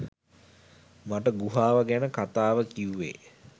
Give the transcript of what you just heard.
මට ගුහාව ගැන කතාව කිව්වේ